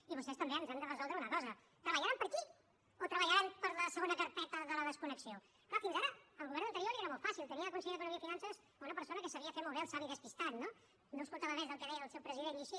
i vostès també ens han de resoldre una cosa treballaran per aquí o treballaran per a la segona carpeta de la desconnexió clar fins ara al govern anterior li era molt fàcil tenia de conseller d’economia i finances una persona que sabia fer molt bé el savi despistat no no escoltava res del que deia el seu president i així